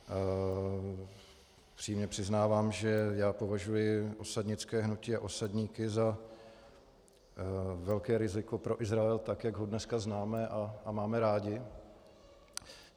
Upřímně přiznávám, že já považuji osadnické hnutí a osadníky za velké riziko pro Izrael, tak jak ho dneska známe a máme rádi.